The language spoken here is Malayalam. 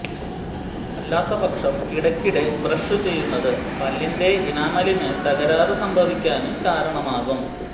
അല്ലാത്തപക്ഷം ഇടക്കിടെ ബ്രഷ് ചെയ്യുന്നത് പല്ലിന്റെ ഇനാമലിന് തകരാര് സംഭവിക്കാന് കാരണമാകും